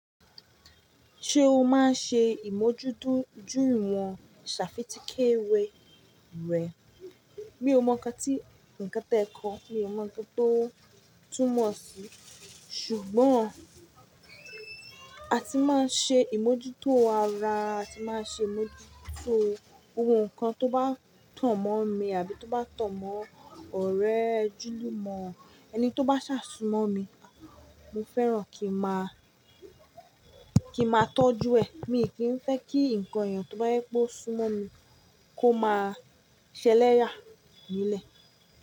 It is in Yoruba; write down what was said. Ṣé o máa ń ṣe ìmójútó jú wọ̀n ṣàfítì kéwé rẹ? Mi ò mọ nǹkan tí ǹkan tẹ́ kọ, mi ò mọ nǹkan tó túmọ̀ sí, ṣùgbọ́n a ti máa ń ṣe ìmójútó ara, a ti máa ń ṣe ìmójútó gbobon nkan to ba ton mon mi àbí toba ton mon ọ̀rẹ́ ojulumo ani toba se sun mon mi mo fẹ́ràn ki maa tojure. Mi kìn fẹ́ kí ǹkan ẹ̀yàn tó bá jẹwipe ó súnmọ́ mi kó máa ṣẹlẹ́yà nílẹ̀.